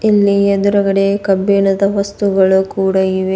ಇಲ್ಲಿ ಎದ್ರುಗಡೆ ಕಬ್ಬಿಣದ ವಸ್ತುಗಳು ಕೂಡ ಇವೆ.